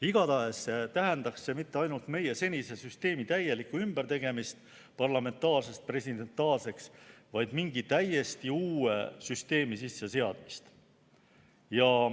Igatahes tähendaks see mitte ainult meie senise süsteemi täielikku ümbertegemist parlamentaarsest presidentaalseks, vaid mingi täiesti uue süsteemi sisseseadmist.